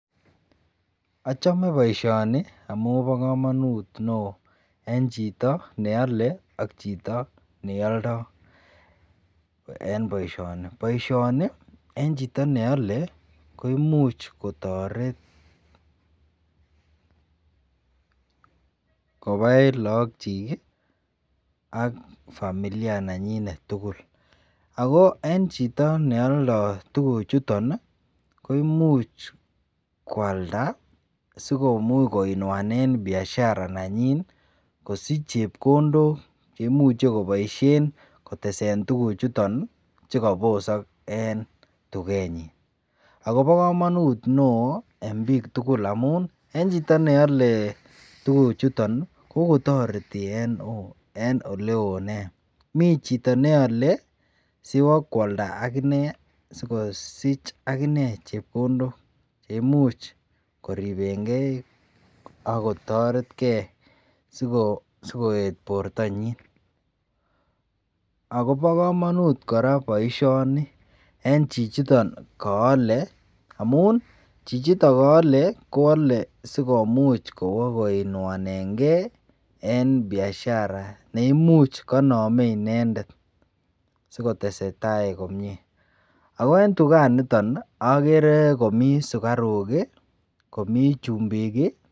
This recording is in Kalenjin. Achome baishoni amun ba kamanut neon en Chito neyame Ane yaldo en baishoni ako baishoni en Chito neyale koimuch kotaret ? Kobai logok chik AK familia chechiket tugul ako en Chito neyoldol lntuguk chuton kimuche kwalda sikumuch koinuane Biashara nenyinet kosich chepkondok cheimuche kobaishen kotesen tuguk chuton chekabisak en tgenyin ako kamanut neon en bik tugul amun en Chito neyale tuguk chiton kotareti en oleon nei mi neyole sikobokwalda akinee sikosich akinee chepkondok cheimuch koribengei akotaretgei sikoet bortonyin akobo kamanut koraa baishoni en chichiton kayale amun chichiton kayale Kwale sikomuch kowakoinuanengei en Biashara neimuche kokaname inendet sikotesetai komie akoentukaniton akere Komi sugaru AK chumbik